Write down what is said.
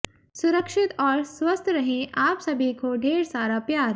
सुरक्षित और स्वस्थ रहें आप सभी को ढेर सारा प्यार